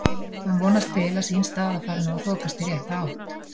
Hann vonast til að sín staða fari nú að þokast í rétta átt.